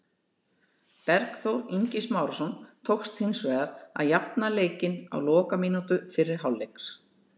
Bergþór Ingi Smárason tókst hins vegar að jafna leikinn á lokamínútu fyrri hálfleiks.